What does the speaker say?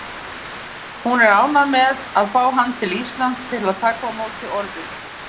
Hún er ánægð að fá hann til Íslands til að taka á móti orðunni.